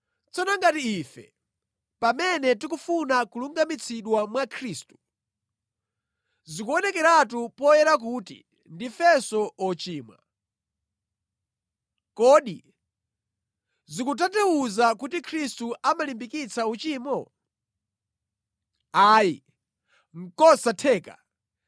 “Tsono ngati ife, pamene tikufuna kulungamitsidwa mwa Khristu, zikuonekeratu poyera kuti ndifenso ochimwa, kodi zikutanthauza kuti Khristu amalimbikitsa uchimo? Ayi. Nʼkosatheka!